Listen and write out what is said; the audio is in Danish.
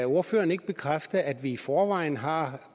ordføreren ikke bekræfte at vi i forvejen har